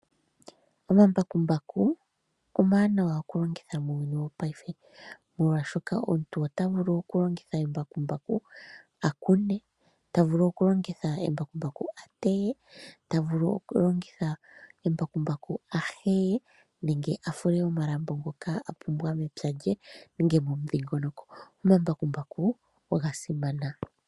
Omambakumbaku omawanawa oku longitha muuyuni wopaife, molwaashoka omuntu ota vulu oku longitha embakumbaku a kune, ta vulu oku longitha embakumbaku a teye, ta vulu oku longitha embakumbaku a heye nenge a fule omalambo ngoka a pumbwa mepya lye nenge momudhingoloko. Omambakumbaku oga simana.